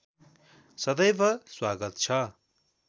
सदैव स्वागत छ